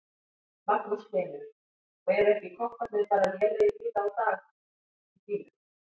Magnús Hlynur: Og eru ekki kopparnir bara lélegir víða í dag á bílum?